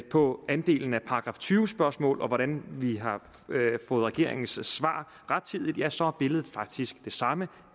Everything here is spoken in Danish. på andelen af § tyve spørgsmål og hvordan vi har fået regeringens svar rettidigt så er billedet faktisk det samme